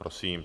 Prosím.